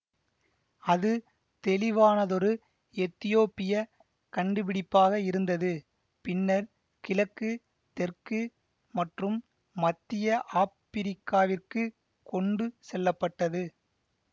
அது தெளிவானதொரு எத்தியோப்பிய கண்டுபிடிப்பாக இருந்தது பின்னர் கிழக்கு தெற்கு மற்றும் மத்திய ஆப்பிரிக்காவிற்கு கொண்டு செல்லப்பட்டது